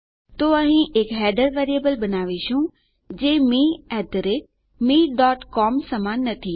તો અહીં આપણે એક હેડર્સ વેરીએબલ બનાવીશું જે મે mecom સમાન નથી